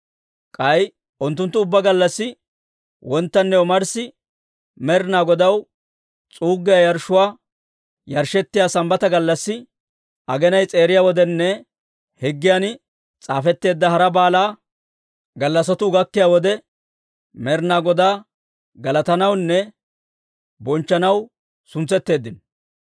K'ay unttunttu ubbaa gallassi wonttanne omarssi, Med'inaa Godaw s'uuggiyaa yarshshuu yarshshettiyaa Sambbata gallassi, aginay s'eeriya wodenne higgiyan s'aafetteedda hara baala gallassatuu gakkiyaa wode, Med'inaa Godaa galatanawunne bonchchanaw suntsetteeddino.